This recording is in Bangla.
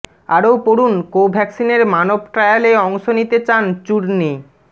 আরও পড়ুন কোভ্যাক্সিনের মানব ট্রায়ালে অংশ নিতে চান চূর্ণী